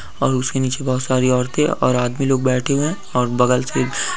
और उसके नीचे बहुत सारी औरतें और आदमी लोग बैठे हुए हैं और बगल से--